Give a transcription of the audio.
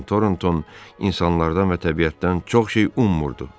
Con Tornton insanlardan və təbiətdən çox şey ummurdu.